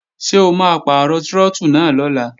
Ṣé o máa pàrọ̀ trọ́tù náà lọ́la?